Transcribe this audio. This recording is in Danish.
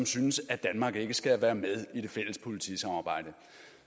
synes at danmark skal være med i det fælles politisamarbejde